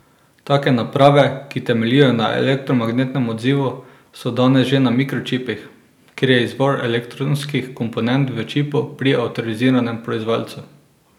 Take naprave, ki temeljijo na elektromagnetnem odzivu, so danes že na mikročipih, kjer je izvor elektronskih komponent v čipu pri avtoriziranem proizvajalcu.